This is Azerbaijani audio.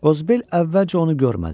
Qozbel əvvəlcə onu görmədi.